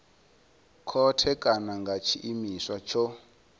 khothe kana nga tshiimiswa tsho